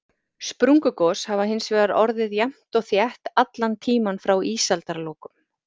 Sprungugos hafa hins vegar orðið jafnt og þétt allan tímann frá ísaldarlokum.